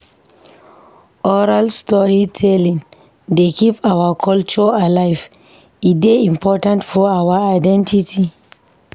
Oral storytelling dey keep our culture alive, e dey important for our identity.